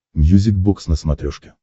мьюзик бокс на смотрешке